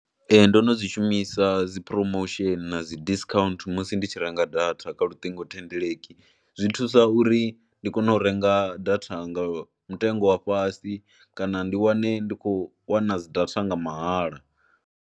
Ee ndo no zwi shumisa dzi promotion na dzi disccount musi ndi tshi renga data kha luṱingothendeleki, zwi thusa uri ndi kone u renga data nga mutengo wa fhasi kana ndi wane ndi khou wana dzi data nga mahala.